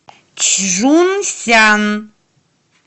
чжунсян